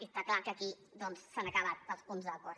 i està clar que aquí s’han acabat els punts d’acord